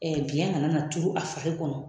Ɛɛ biɲɛ kana na turu a fari kɔnɔ